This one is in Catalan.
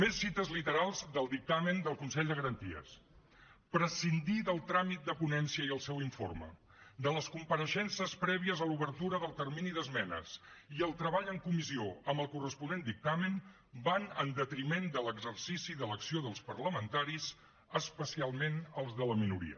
més cites literals del dictamen del consell de garanties prescindir del tràmit de ponència i el seu informe de les compareixences prèvies a l’obertura del termini d’esmenes i el treball en comissió amb el corresponent dictamen va en detriment de l’exercici de l’acció dels parlamentaris especialment els de la minoria